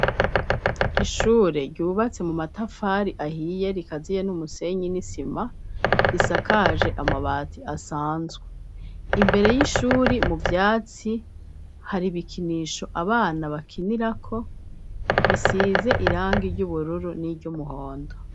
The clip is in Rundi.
Ishure ryubatse mu matafari ahiye rikaziye n'umusenyi n'isima risakaje amabati asanzwe . Imbere y'ishuri mu vyatsi, hari ibikinisho abana bakinirako bisize irangi ry'ubururu n'iryumuhondo.